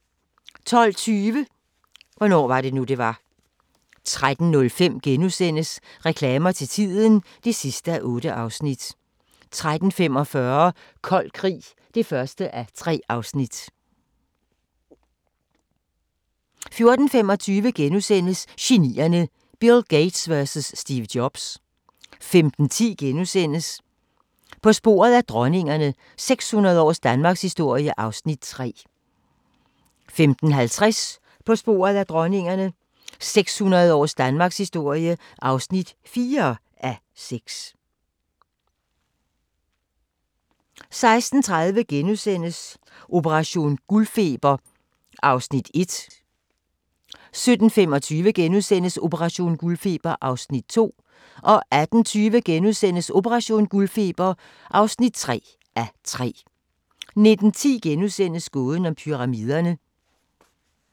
12:20: Hvornår var det nu, det var? 13:05: Reklamer til tiden (8:8)* 13:45: Kold Krig (1:3) 14:25: Genierne: Bill Gates vs Steve Jobs * 15:10: På sporet af dronningerne – 600 års danmarkshistorie (3:6)* 15:50: På sporet af dronningerne – 600 års Danmarkshistorie (4:6) 16:30: Operation guldfeber (1:3)* 17:25: Operation guldfeber (2:3)* 18:20: Operation guldfeber (3:3)* 19:10: Gåden om Pyramiderne *